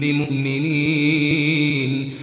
بِمُؤْمِنِينَ